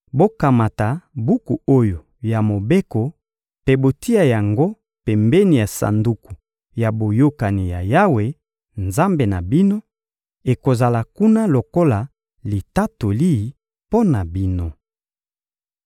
«Bokamata buku oyo ya Mobeko mpe botia yango pembeni ya Sanduku ya Boyokani ya Yawe, Nzambe na bino; ekozala kuna lokola litatoli mpo na bino.